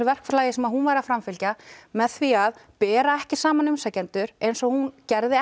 verklagi sem hún var að framfylgja með því að bera ekki saman umsækjendur eins og hún gerði